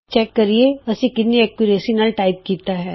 ਆਉ ਦੇਖੀਏ ਅਸੀਂ ਕਿੰਨੀ ਸ਼ੁੱਧਤਾ ਨਾਲ ਟਾਈਪ ਕੀਤਾ ਹੈ